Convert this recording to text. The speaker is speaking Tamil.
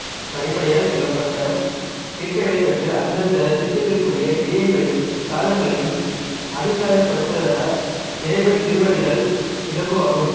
படிப்படியாய்ச் சொல்லப்பட்ட தீட்சைகளைப் பெற்று அந்தந்த தீட்சைகளுக்குரிய கிரியைகளையும் சாதனங்களையும் அப்பியாசப்படுத்திவர இறைவன் திருவடியடைதல் இலகுவாகும்